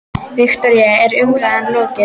Viktoría, er umræðum lokið?